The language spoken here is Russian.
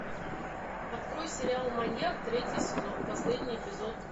открой сериал маньяк третий сезон последний эпизод